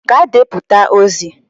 Gaa deputa ozi!